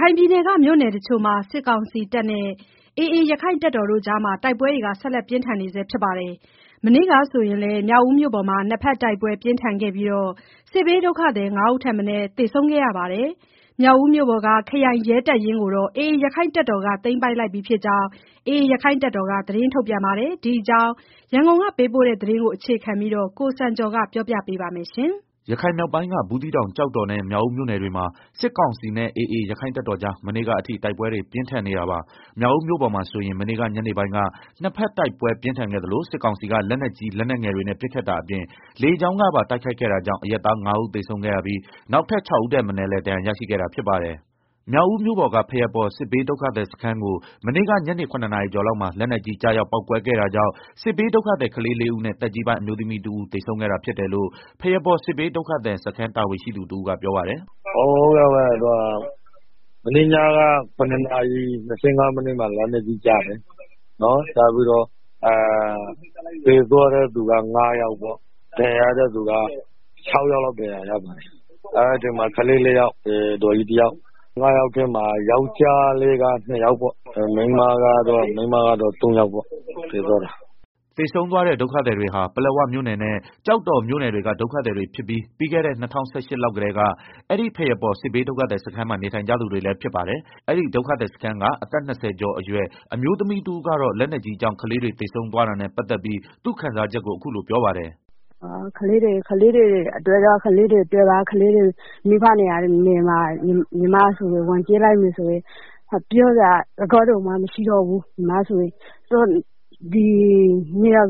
ခိုင်ပြည်နယ်က မြို့တချို့မှာ စစ်ကောင်စီနဲ့ AA ရက္ခိုင့်တပ်တော်တို့ကြား တိုက်ပွဲတွေ ဆက်လက်ပြင်းထန် နေဆဲဖြစ်ပါတယ်။ မနေ့က ဆိုရင်လည်း မြောက်ဦးမြို့ပေါ်မှာ နှစ်ဖက်တိုက်ပွဲ ပြင်းထန်ခဲ့ပြီး စစ်ဘေးဒုက္ခသည် ၅ ဦး ထက်မနည်း သေဆုံးခဲ့ရပါတယ်။ မြောက်ဦးမြို့ပေါ်က ခရိုင်ရဲတပ်ရင်းကိုတော့ AA ရက္ခိုင့်တပ်တော်က သမ်းပိုက်လိုက်ပြီ ဖြစ်ကြောင်းလည်း AA အဖွဲ့က သတင်းထုတ်ပြန်ပါတယ်။ ဒီအကြောင်း ရန်ကုန်ကပေးပို့တဲ့သတင်းကို အခြေခံပြီး ကိုစံကျော်က တင်ပြပေးပါမယ်။ ရခိုင်မြောက်ပိုင်းက ဘူးသီးတောင် ကျောက်တော်နဲ့ မြောက်ဦးမြို့နယ် တွေမှာ စစ်ကောင်စီနဲ့ AA ရက္ခိုင့်တပ်တော်ကြား မနေ့ကအထိ တိုက်ပွဲတွေ ပြင်းထန်နေတာပါ။ မြောက်ဦးမြို့ပေါ်မှာ ဆိုရင် မနေ့က ညနေပိုင်းက နှစ်ဘက် တိုက်ပွဲ ပြင်းထန် ခဲ့သလို စစ်ကောင်စီက လက်နက်ကြီး လက်နက်ငယ်တွေနဲ့ ပစ်ခတ်တာအပြင် လေကြောင်းကပါ တိုုက်ခိုက်ခဲ့တာကြောင့် အရပ်သား ၅ ဦးသေဆုံးခဲ့ရပြီး နောက်ထပ် ၆ ဦး ထက်မနည်းလည်း ဒဏ်ရာရရှိခဲ့တာ ဖြစ်ပါတယ်။ မြောက်ဦးမြို့ပေါ်က ဘုးရားပေါ်စစ်ဘေးဒုက္ခသည်စခန်းကို မနေ့က ညနေ ရ နာရီကျော် လောက်မှာ လက်နက်ကြီး ကျရောက် ပေါက်ကွဲခဲ့တာကြောင့် စစ်ဘေးဒုက္ခသည် ကလေး ၄ ဦးနဲ့ သက်ကြီးပိုင်း အမျိုးသမီး တဦး သေဆုံးခဲ့တာ ဖြစ်တယ်လို့ ဘုရားပေါ်စစ်ဘေးဒုက္ခသည် စခန်းတာဝန်ရှိသူ တဦးကပြောပါတယ်။ “ မနေ့ညက ၇ နာရီ ၂၅ မိနစ်မှာ လက်နက်ကြီးကျတယ်၊ သေသွားတဲ့သူက ငါးယောက်ပေါ့၊ ၆ယောက်လောက် ဒဏ်ရာရ ပါတယ်၊ သေသွားတဲ့ ထဲမှာ ကလေး ၄ယောက် အဒေါ်ကြီးတယောက်၊ ငါးယောက်ထဲမှာ ယောကျာ်း၂ယောက် မိန်းမကတော့ ၃ယောက်ပေါ့ သေသွားကြတာ။” သေဆုံးသွားတဲ့ ဒုက္ခသည်တွေဟာ ပလက်ဝမြို့နယ်နဲ့ ကျောက်တော်မြို့နယ်တွေက ဒုက္ခသည်တွေဖြစ်ပြီး ပြီးခဲ့တဲ့ ၂၀၁၈ လောက်ကတည်း အဲဒီ ဘုရားပေါ် စစ်ဘေးဒုက္ခသည် စခန်းမှာ နေထိုင် နေကြသူ တွေလည်းဖြစ်ပါတယ်။ အဲဒီ ဒုက္ခသည်စခန်းက အသက်၂ဝ ကျော် အရွယ် အမျိုးသမီးတဦးကတော့ လက်နက်ကြီးကြောင့် ကလေးတွေ သေဆုံးသွားတာ နဲ့ပတ်သက်ပြီး သူ့ခံစားချက်ကို အခုလိုပြောပါတယ်။ “ သေသွားတဲ့ ကလေးတွေရဲ့ မိဘနေရာမှာ ဝင်ကြည့်လိုက်မယ်ဆိုရင် ပြောစရာ စကား တောင် မရှိတော့ဘူး၊ ဘုရား